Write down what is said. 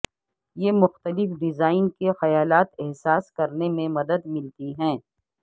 یہ مختلف ڈیزائن کے خیالات احساس کرنے میں مدد ملتی ہے